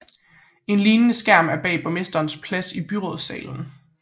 En lignende skærm er bag borgmesterens plads i byrådssalen